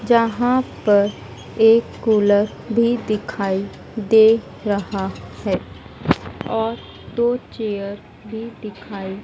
जहाँ पर एक कूलर भी दिखाई दे रहा है और दो चेयर भी दिखाई --